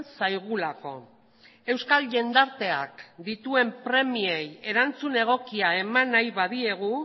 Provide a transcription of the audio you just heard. zaigulako euskal jendarteak dituen premiei erantzun egokia eman nahi badiegu